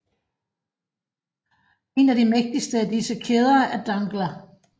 En af de mægtigste af disse kæder er Dangla